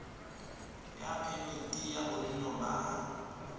ya phemiti ya bonno ba